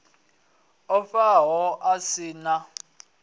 o faho a si na